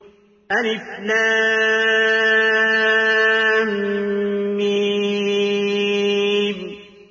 الم